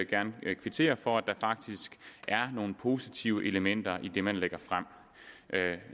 gerne kvittere for at der faktisk er nogle positive elementer i det man lægger frem